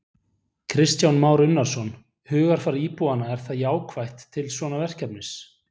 Kristján Már Unnarsson: Hugarfar íbúanna er það jákvætt til svona verkefnis?